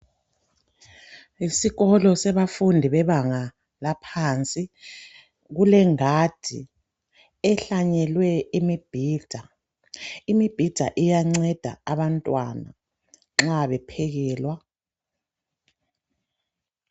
Yisikolo sabafundi bebanga laphansi. Kulengadi ehlanyelwe imibhida. Imibhida iyanceda abantwana nxa bephekelwa.